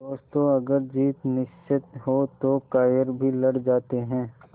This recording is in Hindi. दोस्तों अगर जीत निश्चित हो तो कायर भी लड़ जाते हैं